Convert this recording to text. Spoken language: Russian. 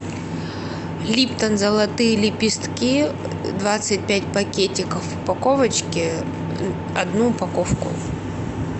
липтон золотые лепестки двадцать пять пакетиков в упаковочке одну упаковку